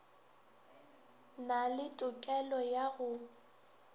na le tokelo ya go